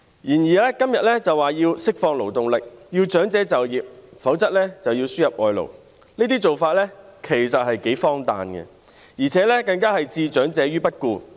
然而，今天政府表示要釋放勞動力，要長者就業，否則便要輸入外勞，這些做法其實頗為荒誕，更置長者於不顧。